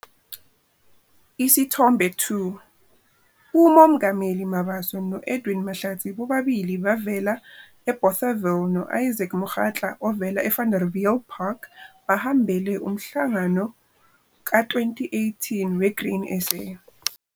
Isithombe 2- Umomgameli Mabaso no-Edwin Mahlatsi bobabili bavela eBothaville no-Isaac Mokgatla ovela eVanderbiljpark, bahambele uMhlangano ka-2018 we-Grain SA.